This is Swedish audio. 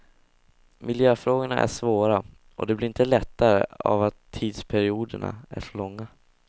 Miljöfrågorna är svåra och det blir inte lättare av att tidsperioderna är så långa.